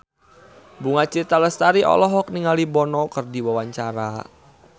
Bunga Citra Lestari olohok ningali Bono keur diwawancara